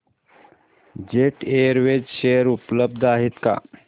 jet Airways share उपलब्ध आहेत का